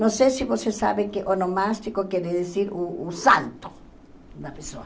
Não sei se vocês sabem que onomástico quer dizer o o santo da pessoa.